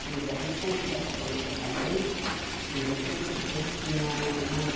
Tinha o da República, que começou também, o Cine República, e depois tinha o mais